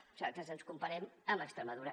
nosaltres ens comparem amb extremadura